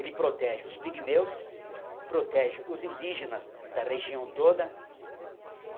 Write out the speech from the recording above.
Ele protege os pigmeus, protege os indígenas da região toda.